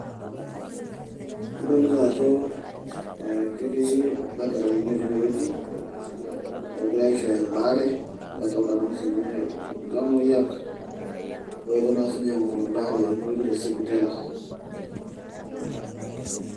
adolita ajo ketii ildakitarini otii enewueji oogira aishooyo embaare nadolita naa siinye iltamoyiak oetuo siinye aing`oru embaare tenewueji tesipitali.